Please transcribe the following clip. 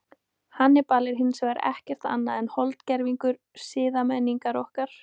Hannibal er hins vegar ekkert annað en holdgervingur siðmenningar okkar.